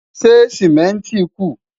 ṣé simẹnti ku?